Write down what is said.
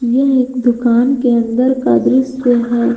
यह एक दुकान के अंदर का दृश्य है।